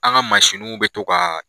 An ka mansinniw bɛ to kaaa.